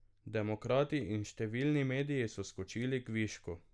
Demokrati in številni mediji so skočili k višku.